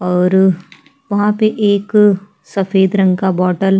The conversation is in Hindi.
और उहाँ पे एक सफेद रंग का बॉटल --